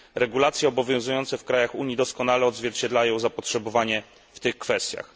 Regulacje obowiązujące w krajach Unii doskonale odzwierciedlają zapotrzebowanie w tych kwestiach.